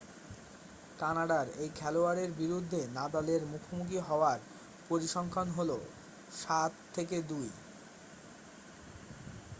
কানাডার এই খেলোয়াড়ের বিরুদ্ধে নাদালের মুখোমুখি হওয়ার পরিসংখ্যান হলো 7-2